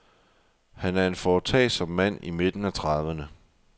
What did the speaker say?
Han er en foretagsom mand i midten af trediverne.